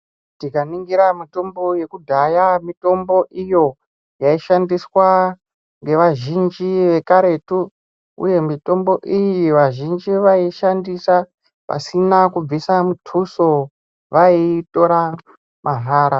Tikaningira mitombo yekudhaya mitombo iyo yaishandiswa ngevazhinji vekaretu uye vazhinji vaiishandisa pasina kubvisa muthuso vaiitora mahara.